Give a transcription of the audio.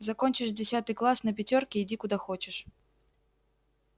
закончишь десятый класс на пятёрки иди куда хочешь